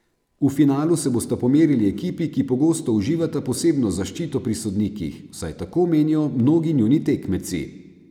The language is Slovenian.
V finalu se bosta pomerili ekipi, ki pogosto uživata posebno zaščito pri sodnikih, vsaj tako menijo mnogi njuni tekmeci.